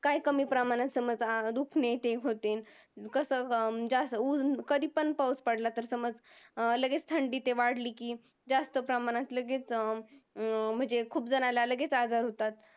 काय कमी प्रमाणात अं ते दुखणे ते होतील. कसं अं जास्त कधीपण पाऊस पडला तर समज लगेच थंडी ते वाढली की जास्त प्रमाणात लगेच अं म्हणजे खूप जणाला लगेच आजार होतात